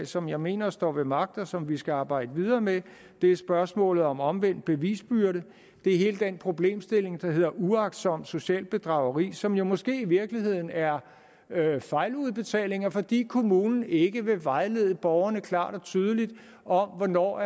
som jeg mener står ved magt og som vi skal arbejde videre med det er spørgsmålet om omvendt bevisbyrde det er hele den problemstilling der hedder uagtsomt socialt bedrageri som jo måske i virkeligheden er fejludbetalinger fordi kommunen ikke vil vejlede borgerne klart og tydeligt om hvornår